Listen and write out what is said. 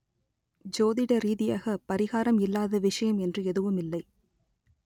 ஜோதிட ரீதியாக பரிகாரம் இல்லாத விஷயம் என்று எதுவுமில்லை